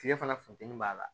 Kile fana funteni b'a la